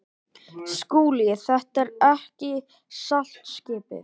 SKÚLI: Þetta er ekki saltskipið.